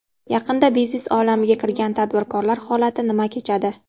Yaqinda biznes olamiga kirgan tadbirkorlar holati nima kechadi?